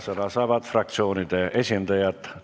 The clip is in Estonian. Sõna saavad fraktsioonide esindajad.